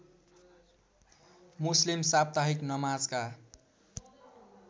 मुस्लिम साप्ताहिक नमाजका